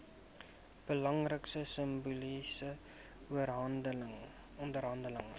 belangrike simboliese oorhandiging